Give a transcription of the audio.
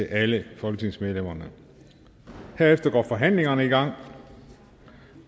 alle folketingsmedlemmerne herefter går forhandlingerne i gang